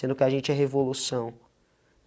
Sendo que a gente é revolução.